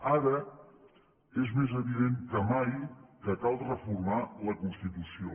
ara és més evident que mai que cal reformar la constitució